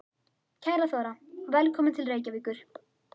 Kæra Þóra. Velkomin til Reykjavíkur.